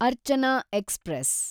Archana express